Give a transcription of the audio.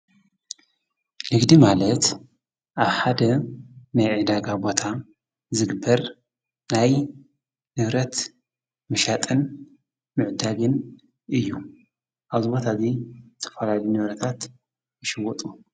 ልጊዲ ማለት ኣብ ሓደ መይዕዳጋ ቦታ ዝግብር ናይ ንብረት ምሻጥን ምዕዳግን እዩ ኣዝበታእዙይ ተፈላዲ ነበረታት ይሽወጡ።